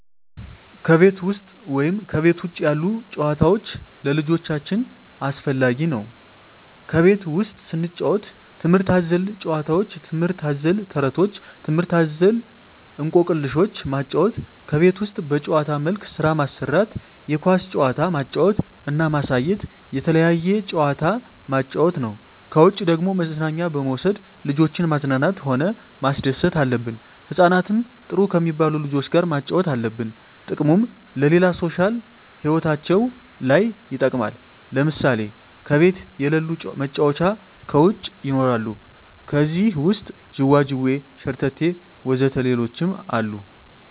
ከቤት ውሰጥ ወይም ከቤት ውጭ ያሉ ጭዋታዎች ለልጆቻቸው አስፈላጊ ነው ከቤት ውስጥ ስንጫወት ትምህርት አዘል ጫውውቶች ትምህርት አዘል ተረቶች ትምህርት አዘል እኮክልሾችን ማጫወት ከቤት ውስጥ በጭዋታ መልክ ስራ ማሰራት የኳስ ጭዋታ ማጫወት እና ማሳየት የተለያየ ጭዋታ ማጫወት ነው ከውጭ ደግሞ መዝናኛ በመውሰድ ልጆችን ማዝናናት ሆነ ማስደሰት አለብን ህጻናትን ጥሩ ከሜባሉ ልጆች ጋር ማጫወት አለብን ጥቅሙም ለሌላ ሦሻል ህይወታቸው ለይ ይጠቅማል ለምሳሌ ከቤት የለሉ መጫወቻ ከውጭ ይኖራሉ ከዜህ ውሰጥ ጅዋጅዌ ሸረተቴ ወዘተ ሌሎችም አሉ